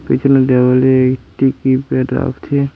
পিছনের দেওয়ালে একটি কিপ্যাড আছে।